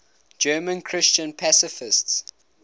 german christian pacifists